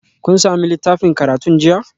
Kun sami littafin karatun jiya?